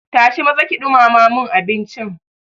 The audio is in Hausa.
Tashi maza ki ɗumama mun abincin.